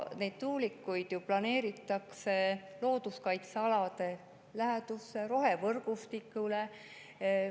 Need tuulikud planeeritakse ju looduskaitsealade lähedusse, rohevõrgustiku alale.